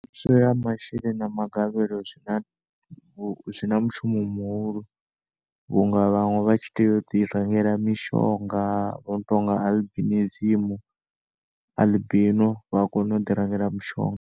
Thuso ya masheleni na magavhelo zwina zwina mushumo muhulu vhunga vhanwe vhatshi tea udi rengela mishonga uno tonga albinism albino vhakono ḓi rengela mishonga.